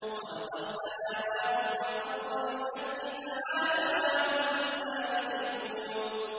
خَلَقَ السَّمَاوَاتِ وَالْأَرْضَ بِالْحَقِّ ۚ تَعَالَىٰ عَمَّا يُشْرِكُونَ